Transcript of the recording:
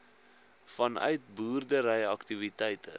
vanuit boerdery aktiwiteite